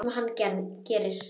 Sem hann gerir.